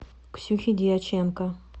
ксюхи дьяченко